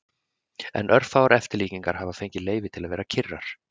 En örfáar eftirlíkingar hafa fengið leyfi til að vera kyrrar.